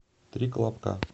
три колобка